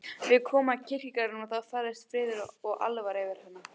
Við komum að kirkjugarðinum og þá færðist friður og alvara yfir hana.